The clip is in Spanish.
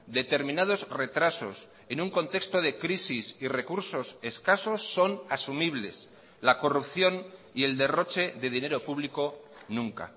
determinados retrasos en un contexto de crisis y recursos escasos son asumibles la corrupción y el derroche de dinero público nunca